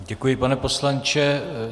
Děkuji, pane poslanče.